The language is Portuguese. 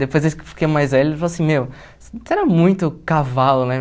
Depois eu fiquei mais velho, eles falavam assim, meu, você era muito cavalo, né?